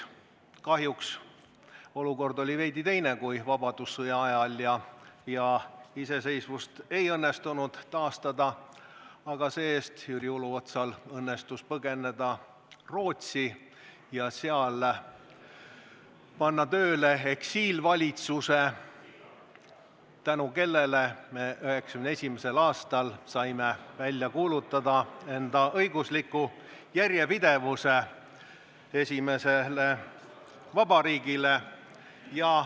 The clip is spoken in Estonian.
Kahjuks oli olukord veidi teine kui vabadussõja ajal ja iseseisvust ei õnnestunud taastada, aga see-eest õnnestus Jüri Uluotsal põgeneda Rootsi ja panna seal tööle eksiilvalitsus, tänu kellele saime 1991. aastal kuulutada välja Eesti iseseisvuse õigusliku järjepidevuse alusel.